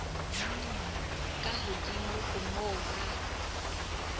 ka hodimo ho moo ba